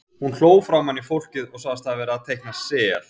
Hún hló framan í fólkið og sagðist hafa verið að teikna sel.